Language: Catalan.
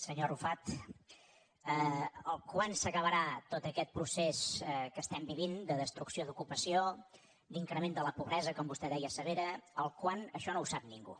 senyor arrufat quan s’acabarà tot aquest procés que estem vivint de destrucció d’ocupació d’increment de la pobresa com vostè deia severa el quan això no ho sap ningú